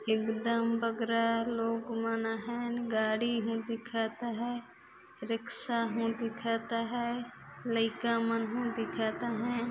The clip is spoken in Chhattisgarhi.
एकदम बगरा लोग मन आहय गाड़ी हूँ दिखत अहय रिक्शा हूँ दिखत अहय लइका मन हूँ दिखत अहय।